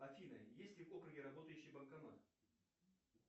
афина есть ли в округе работающий банкомат